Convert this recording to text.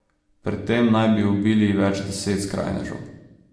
Pri tem naj bi ubili več deset skrajnežev.